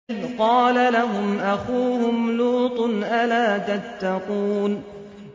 إِذْ قَالَ لَهُمْ أَخُوهُمْ لُوطٌ أَلَا تَتَّقُونَ